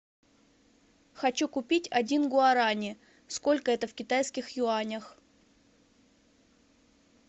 хочу купить один гуарани сколько это в китайских юанях